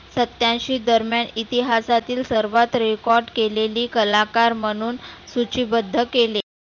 सत्तेऐंशी दरम्यान इतिहासातील सर्वात record केलेली कलाकार म्हणुन सुची बद्ध केले.